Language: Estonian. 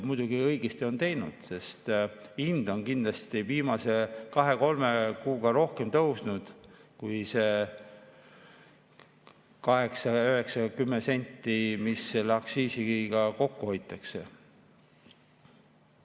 Muidugi, õigesti on teinud, sest hind on kindlasti viimase kahe-kolme kuuga rohkem tõusnud kui see 8, 9 või 10 senti, mis selle aktsiisiga kokku hoitakse.